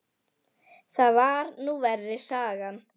Það var nú verri sagan